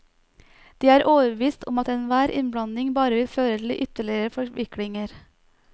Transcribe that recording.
De er overbevist om at enhver innblanding bare vil føre til ytterligere forviklinger.